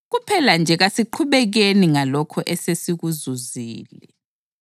Kuphela nje kasiqhubekeni ngalokho esesikuzuzile.